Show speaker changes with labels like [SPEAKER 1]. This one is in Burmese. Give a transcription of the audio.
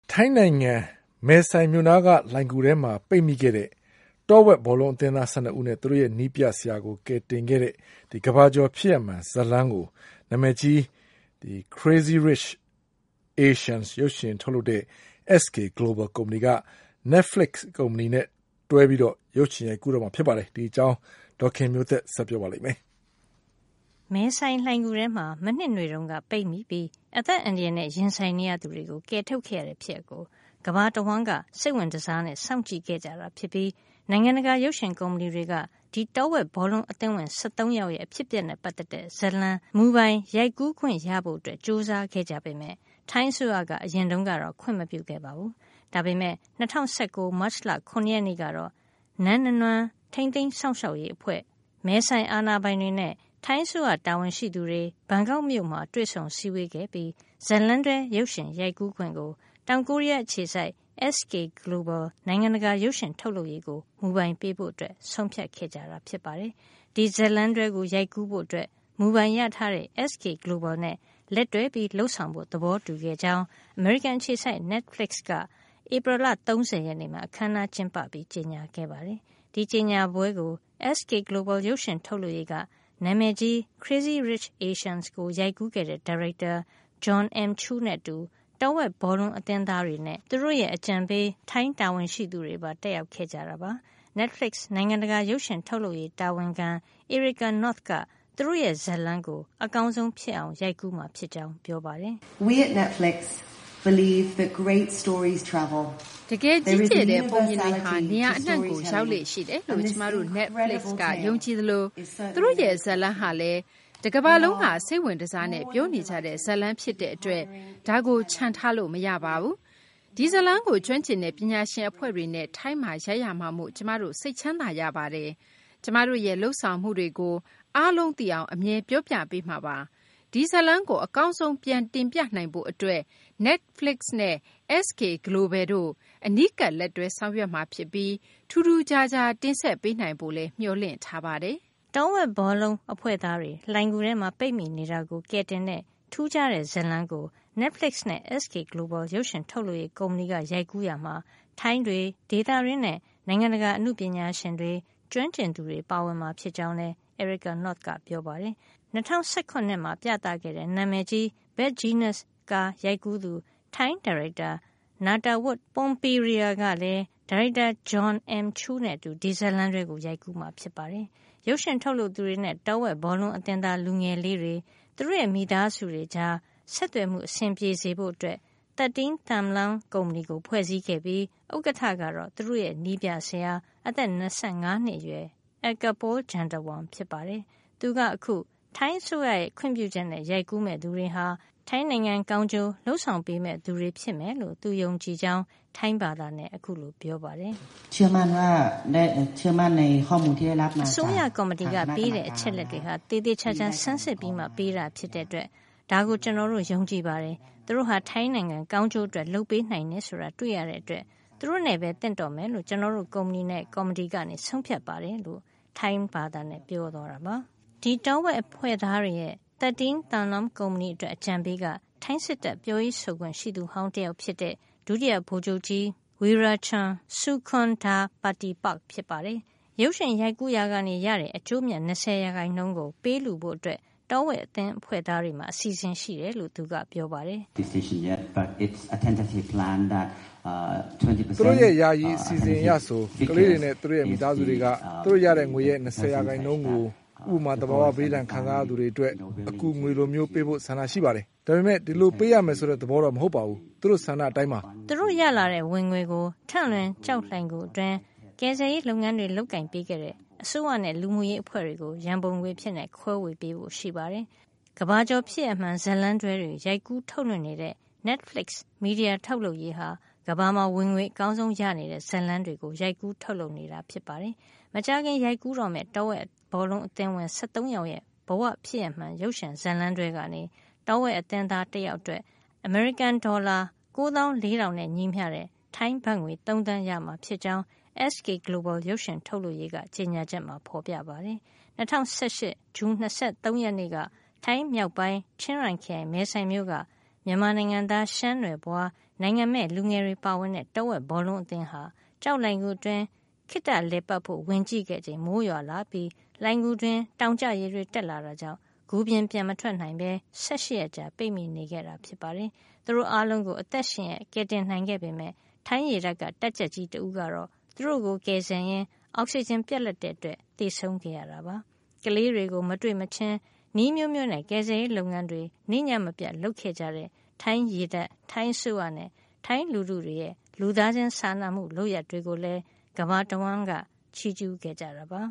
[SPEAKER 1] ထိုင်းနိုင်ငံ မဲဆိုင်က Tham Luang လှိုဏ်ဂူထဲမှာ ပိတ်မိခဲ့တဲ့ တောဝက်ဘောလုံး အသင်းသား ၁၂ ယောက်နဲ့ သူတို့ရဲ့နည်းပြဆရာကို ကယ်တင်ခဲ့တဲ့ ကမ္ဘာကျော် ဖြစ်ရပ်မှန် ဇာတ်လမ်းကို နာမည်ကြီး "Crazy Rich Asians" ရုပ်ရှင်ထုတ်လုပ်တဲ့ SK GLOBAL ကုမ္ပဏီက Netflix နဲ့ လက်တွဲပြီး ရုပ်ရှင်ရိုက်ကူးတော့မှာ ဖြစ်ပါတယ်။ အပြည့်အစုံကို ဒေါ်ခင်မျိုးသက်က ပြောပြပေးမှာပါ။ မဲဆိုင်လှိုဏ်ဂူထဲမှာ မနှစ်နွေတုန်းက ပိတ်မိပြီး အသက်အန္တရာယ်နဲ့ ရင်ဆိုင်နေရသူတွေကို ကယ်ထုတ်ခဲ့ရတဲ့ ဖြစ်ရပ်ကို ကမ္ဘာတဝှမ်းက စိတ်ဝင်တစားနဲ့ စောင့်ကြည့်ခဲ့ကြတာ ဖြစ်ပြီး နိုင်ငံတကာ ရုပ်ရှင်ကုမ္ပဏီတွေက ဒီတောဝက်ဘောလုံး အသင်းဝင် ၁၃ ယောက်ရဲ့ အဖြစ်အပျက်နဲ့ ပတ်သက်တဲ့ ဇာတ်လမ်းမူပိုင် ရိုက်ကူးခွင့်ရဖို့ ကြိုးစားခဲ့ကြ ပေမယ့် ထိုင်းအစိုးရက အရင်တုန်းကတော့ ခွင့်မပြုခဲ့ပါဘူး။ ဒါပေမဲ့ ၂၀၁၉ ခုနှစ်၊ မတ်လ ၇ ရက်နေ့ကတော့ နန်းနနွမ်း (အိပ်ပျော်နေတဲ့ ရှမ်းမင်းသမီး တောင်တန်း) ထိန်းသိမ်း စောင့်ရှောက်ရေးအဖွဲ့ မဲဆိုင်အာဏာပိုင်တွေနဲ့ ထိုင်းအစိုးရ တာဝန်ရှိသူတွေ ဘန်ကောက်မြို့မှာ တွေ့ဆုံစည်းဝေးခဲ့ပြီး ဇာတ်လမ်းတွဲ ရုပ်ရှင်ရိုက်ကူးခွင့်ကို တောင်ကိုရီးယား အခြေစိုက် SK GLOBAL နိုင်ငံတကာ ရုပ်ရှင်ထုတ်လုပ်ရေးကို မူပိုင်ပေးဖို့ ဆုံးဖြတ်ခဲ့ကြတာ ဖြစ်ပါတယ်။ ဒီဇာတ်လမ်းတွဲကို ရိုက်ကူးဖို့ မူပိုင်ရထားတဲ့ SK GLOBAL နဲ့ လက်တွဲလုပ်ဆောင်ဖို့ သဘောတူခဲ့ကြောင်း အမေရိကန် အခြေစိုက် Netflixက ဧပြီလ ၃၀ ရက်နေ့မှာ အခန်းအနားကျင်းပပြီး ကြေညာခဲ့ပါတယ်။ ဒီကြေညာပွဲကို SK GLOBAL ရုပ်ရှင်ထုတ်လုပ်ရေးက နာမည်ကြီး "Crazy Rich Asians" ကို ရိုက်ကူးတဲ့ ဒါရိုက်တာ Jon M. Chu နဲ့အတူ တောဝက် ဘောလုံးအသင်းသားတွေနဲ့ သူတို့ရဲ့ အကြံပေး ထိုင်းတာဝန်ရှိသူတွေပါ တက်ရောက်ခဲ့ကြပါတယ်။ Netflix နိုင်ငံတကာရုပ်ရှင်ထုတ်လုပ်ရေး တာဝန်ခံ Erika North က သူတို့ရဲ့ ဇာတ်လမ်းကို အကောင်းဆုံး ဖြစ်အောင် ရိုက်ကူးမှာ ဖြစ်ကြောင်း ပြောပါတယ်။ "တကယ် ကြီးကျယ်တဲ့ပုံပြင်တွေဟာ နေရာအနှံ့ကို ရောက်လေ့ရှိတယ်လို့ ကျမတို့ Netflix က ယုံကြည်သလို သူတို့ရဲ့ ဇာတ်လမ်းဟာလည်း တကမ္ဘာလုံးက စိတ်ဝင်တစားနဲ့ ပြောနေကြတဲ့ဇာတ်လမ်း ဖြစ်တဲ့အတွက် ဒါကို ချန်ထားလို့ မရပါဘူး။ ဒီဇာတ်လမ်းကို ကျွမ်းကျင်တဲ့ ပညာရှင် အဖွဲ့တွေနဲ့ ထိုင်းမှာ ရိုက်ရမှာမို့ ကျမတို့ စိတ်ချမ်းသာရပါတယ်။ ကျမတို့ရဲ့ လုပ်ဆောင်မှုတွေကို အားလုံးသိအောင် အမြဲ ပြောပြပေးမှာပါ။ ဒီဇာတ်လမ်းကို အကောင်းဆုံး ပြန်တင်ပြနိုင်ဖို့အတွက် Netflix နဲ့ SK Global တို့ အနီးကပ်လက်တွဲ ဆောင်ရွက်မှာ ဖြစ်ပြီး ထူးထူးခြားခြား တင်ဆက်ပေးနိုင်ဖို့လည်း မျှော်လင့်ထားပါတယ်။" တောဝက်ဘောလုံး အဖွဲ့သားတွေ လှိုဏ်ဂူထဲ ပိတ်မိနေတာကို ကယ်တင်တဲ့ ထူးခြားတဲ့ဇာတ်လမ်းကို Netflix နဲ့ SK Global ရုပ်ရှင် ထုတ်လုပ်ရေး ကုမ္ပဏီက ရိုက်ကူးရာမှာ ထိုင်းတွေ ဒေသတွင်းနဲ့ နိုင်ငံတကာ အနုပညာရှင်တွေ၊ ကျွမ်းကျင်သူတွေပါဝင်မှာ ဖြစ်ကြောင်းလည်း Erika North ကပြောပါတယ်။ ၂၀၁ရ မှာ ပြသခဲ့တဲ့ နာမည်ကြီး Bad Genius ကားရိုက်ကူးသူ ထိုင်း ရုပ်ရှင်ဒါရိုက်တာ Nattawut Poonpiriya က လည်း ဒါရိုက်တာ Jon M. Chu နဲ့အတူ ဒီဇတ်လမ်းတွဲကို ရိုက်ကူးမှာ ဖြစ်ပါတယ်။ ရုပ်ရှင်ထုတ်လုပ်သူတွေနဲ့ တောဝက်ဘောလုံးအသင်းသား လူငယ်လေးတွေ၊ သူတို့ရဲ့မိသားစုတွေကြား ဆက်သွယ်မှု အဆင်ပြေစေဖို့ 13 Thumluang ကုမ္ပဏီကို ဖွဲ့စည်းခဲ့ပြီး ဥက္ကဌကတော့ သူတို့ရဲ့ နည်းပြဆရာ အသက် ၂၅ နှစ်အရွယ် Eakapol Jantawong ဖြစ်ပါတယ်။ သူက အခု ထိုင်းအစိုးရရဲ့ ခွင့်ပြုချက်နဲ့ ရိုက်ကူးမယ့် သူတွေဟာ ထိုင်းနိုင်ငံကောင်းကျိုး လုပ်ဆောင်ပေးမယ့် သူတွေ ဖြစ်မယ်လို့ သူယုံကြည်ကြောင်း ပြောပါတယ်။ “အစိုးရကော်မတီကပေးတဲ့ အချက်အလက်တွေဟာ သေသေချာချာ ဆန်းစစ်ပြီးမှ ပေးတာဖြစ်တဲ့အတွက် ဒါကို ကျနော်တို့ ယုံကြည်ပါတယ်။ သူတို့ဟာ ထိုင်းနိုင်ငံကောင်းကျိုး အတွက်လုပ်ပေးနိုင်တယ် ဆိုတာ တွေ့ရတဲ့အတွက် သူတို့နဲ့ပဲ သင့်တော်မယ်လို့ ကျနော်တို့ကုမ္ပဏီနဲ့ ကော်မတီက ဆုံးဖြတ်ပါတယ်။” ဒီတော်ဝက်အဖွဲ့သားတွေရဲ့ 13 Thumluang ကုမ္ပဏီ အတွက် အကြံပေးက ထိုင်းစစ်တပ် ပြောရေးဆိုခွင့်ရှိသူဟောင်း တယောက်ဖြစ်တဲ့ ဒုတိယ ဗိုလ်ချုပ်ကြီး Werachon Sukondhapatipak ဖြစ်ပါတယ်။ ရုပ်ရှင်ရိုက်ကူးရာက ရရှိတဲ့ အကျိုးအမြတ် ၂၀ % ကို ပေးလှုဖို့ တောဝက်အသင်းအဖွဲ့သားတွေမှာ အစီအစဉ်ရှိတယ်လို့ သူကပြောပါတယ်။ “သူတို့ရဲ့ ယာယီ အစီအစဉ်အရဆို ခလေးတွေနဲ့ သူတို့ရဲ့ မိသားစုတွေက သူတို့ရတဲ့ငွေရဲ့ ၂၀ % ကို ဥပမာ - သဘာဝဘေးဒဏ်ခံစား ရသူတွေ အတွက် အကူငွေလိုမျိုး ပေးဖို့ ဆန္ဒရှိနေပါတယ်။ ဒါပေမယ့် ဒီလိုပေးရမယ် ဆိုတဲ့ သဘောမဟုတ်ပါဘူး။ သူတို့ဆန္ဒအရပါ။” သူတို့ ရလာတဲ့ ဝင်ငွေကို ထန့်လွင် ကျောက်လှိုဏ်ဂူ အတွင်း ကယ်ဆယ်ရေး လုပ်ငန်းတွေ လုပ်ကိုင်ပေးခဲ့တဲ့ အစိုးရနဲ့လူမှုရေး အဖွဲ့တွေကို ရန်ပုံငွေအဖြစ် ခွဲပေးဖို့ရှိပါတယ်။ ကမ္ဘာကျော် ဖြစ်ရပ်မှန် ဇာတ်လမ်းတွဲတွေ ရိုက်ကူး ထုတ်လွှင့်နေတဲ့ Netflix မီဒီယာ ထုတ်လုပ်ရေးဟာ ကမ္ဘာမှာ ဝင်ငွေ အကောင်းဆုံး ရနေတဲ့ ဇာတ်လမ်းတွေကို ရိုက်ကူး ထုတ်လုပ်နေတာပါ။ မကြာခင် ရိုက်ကူးတော့မယ့် တောဝက် ဘောလုံးအသင်းဝင် ၁၃ ယောက်ရဲ့ဘ၀ ဖြစ်ရပ်မှန် ရုပ်ရှင်ဇာတ်လမ်းတွဲကနေ တောဝက်အသင်းသားတယောက်အတွက် အမေရိကန်ဒေါ်လာ ၉, ၄၀၀၀ ထိုင်းဘတ်ငွေ ၃ သန်းရမှာ ဖြစ်ကြောင်း SK Global ရုပ်ရှင်ထုတ်လုပ်ရေးက ကြေညာချက်မှာ ဖေါ်ပြထားပါတယ်။ ၂၀၁၈ ခုနှစ် ဇွန်လ ၂၃ ရက်နေ့က ထိုင်းမြောက်ပိုင်း ချင်းရိုင်ခရိုင် မဲဆိုင်မြို့က မြန်မာနိုင်ငံသား ရှမ်းနွယ်ဖွား နိုင်ငံမဲ့ လူငယ်တွေ ပါဝင်တဲ့ တောဝက်ဘောလုံး အသင်းဟာ ကျောက်လှိုဏ်ဂူအတွင်း ခေတ္တလည်ပတ်ဖို့ ဝင်ကြည့်ခဲ့တဲ့အချိန် မိုးရွာလာပြီး လှိုဏ်ဂူအတွင်းမှာ တောင်ကျရေတွေ တက်လာတာကြောင့် ဂူပြင်ကို ပြန်မထွက်နိုင်တော့ပဲ ၁၈ ရက်ကြာ ပိတ်မိနေခဲ့ကြတာပါ။ သူတို့အားလုံးကို အသက်ရှင်ရက် ကယ်တင်နိုင်ခဲ့ပေမယ့် ထိုင်းရေတပ်က တပ်ကြပ်ကြီး တဦးကတော့ သူတို့ကို ကယ်ဆယ်ရင်းနဲ့ အောက်စီဂျင် ပြတ်လပ်ခဲ့တာကြောင့် သေဆုံးခဲ့ရပါတယ်။ ကလေးတွေကို မတွေ့မချင်း နည်းအမျိုးမျိုးနဲ့ ကယ်ဆယ်ရေး လုပ်ငန်းတွေ နေ့ညမပြတ် လုပ်ခဲ့ကြတဲ့ ထိုင်းရေတပ်၊ ထိုင်းအစိုးရနဲ့ ထိုင်းလူထုတွေရဲ့ လူသားချင်း စာနာမူလုပ်ရပ် တွေကိုလည်း ကမ္ဘာတဝှမ်းလုံးက ချီးကျူးခဲ့ကြတာပါ